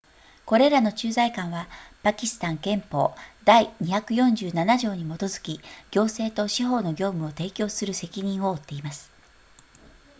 これらの駐在官はパキスタン憲法第247条に基づき行政と司法の業務を提供する責任を負っています